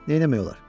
Nə etmək olar?